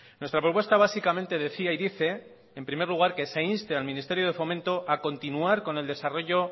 nuestra propuesta básicamente decía y dice en primer lugar que se inste al ministerio de fomento a continuar con el desarrollo